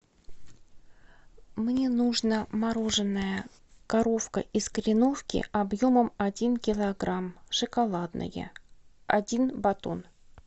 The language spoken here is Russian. мне нужно мороженое коровка из кореновки объемом один килограмм шоколадное один батон